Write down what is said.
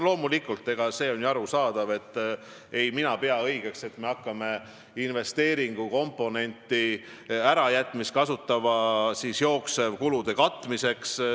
Loomulikult, mina ei pea seda õigeks, et me hakkame investeeringukomponendi ärajätmist kasutama jooksvate kulude katmiseks.